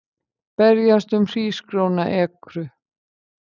Berjast um hrísgrjónaekru